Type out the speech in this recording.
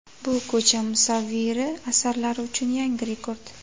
Bu ko‘cha musavviri asarlari uchun yangi rekord.